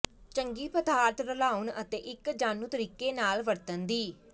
ਚੰਗੀ ਪਦਾਰਥ ਰਲਾਉਣ ਅਤੇ ਇੱਕ ਜਾਣੂ ਤਰੀਕੇ ਨਾਲ ਵਰਤਣ ਦੀ